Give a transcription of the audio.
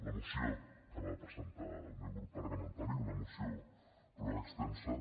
la moció que va presentar el meu grup parlamentari una moció prou extensa